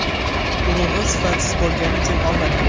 Urug‘i sifatsiz bo‘lgani uchun olmadik.